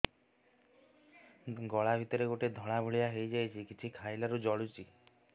ଗଳା ଭିତରେ ଗୋଟେ ଧଳା ଭଳିଆ ହେଇ ଯାଇଛି କିଛି ଖାଇଲାରୁ ଜଳୁଛି